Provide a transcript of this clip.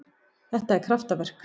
Þetta er kraftaverk.